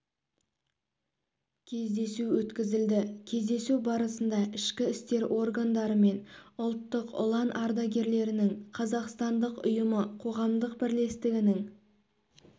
кездесу өткізілді кездесу барысында ішкі істер органдары мен ұлттық ұлан ардагерлерінің қазақстандық ұйымы қоғамдық бірлестігінің